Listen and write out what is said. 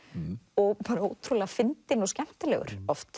og bara ótrúlega fyndinn og skemmtilegur oft